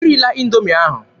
E rila Indoomi ahụ!